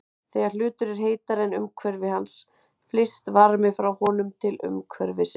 Þegar hlutur er heitari en umhverfi hans flyst varmi frá honum til umhverfisins.